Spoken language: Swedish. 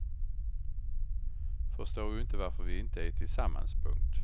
Förstår ju inte varför vi inte är tillsammans. punkt